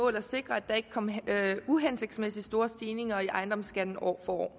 at sikre at der ikke kom uhensigtsmæssig store stigninger i ejendomsskatten år for år